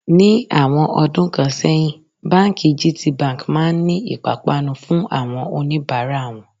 Ní àwọn ọdún kan sẹ́yìn, báńkì gtbank máa ń ní ìpápánu fún àwọn oníbàárà wọn.